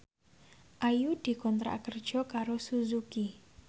Ayu dikontrak kerja karo Suzuki